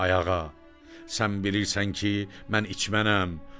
“Ayağa, sən bilirsən ki, mən içmənəm.